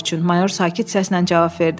Mayor sakit səslə cavab verdi.